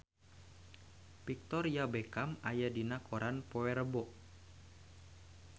Victoria Beckham aya dina koran poe Rebo